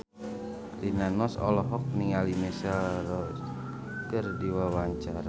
Rina Nose olohok ningali Michelle Rodriguez keur diwawancara